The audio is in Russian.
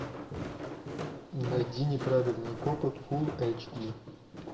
найди неправильные копы фул эйч ди